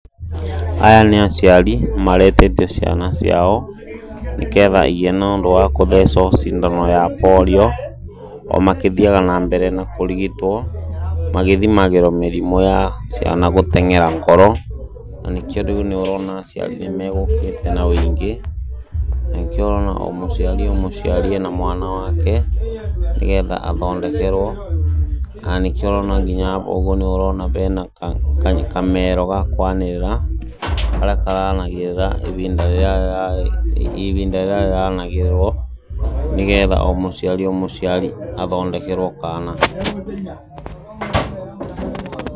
Aya nĩ aciari maretete ciana ciao nĩketha igĩe na ũndũ wa kũthecwo cindano ya polio, o makĩthiaga na mbere na kũrigitwo, magĩthimagĩrwo mĩrimũ ya ciana gũteng'era ngoro, na nĩkĩo rĩu nĩũrona aciari nĩmegũkĩte na ũingĩ, na nĩ kĩo ũrona o mũciari o mũciaro ena mwana wake, nĩgetha athondekerwo na nĩkĩo ũrona nginya aba ũguo nĩurona bena kamero gakwanĩrĩra, karĩa karanagĩrĩra ibinda rĩrĩa rĩranagĩrĩrwo nĩgetha o mũciari o mũciari athondekerwo kaana.